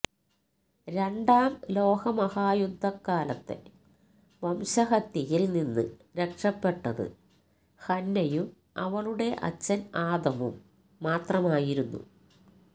രണ്ടാം ലോക മഹായുദ്ധകാലത്തെ വംശഹത്യയിൽ നിന്ന് രക്ഷപ്പെട്ടത് ഹന്നയും അവളുടെ അച്ഛൻ ആദമും മാത്രമായിരുന്നു